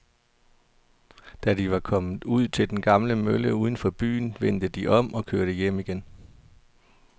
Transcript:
Da de var kommet ud til den gamle mølle uden for byen, vendte de om og kørte hjem igen.